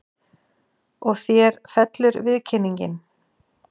Og þér fellur viðkynningin?